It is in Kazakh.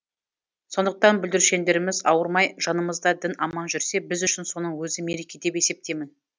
сондықтан бүлдіршіндеріміз ауырмай жанымызда дін аман жүрсе біз үшін соның өзі мереке деп есептеймін